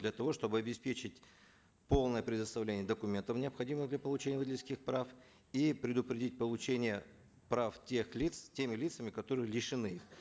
для того чтобы обеспечить полное предоставление документов необходимых для получения водительских прав и предупредить получение прав тех лиц теми лицами которые лишены их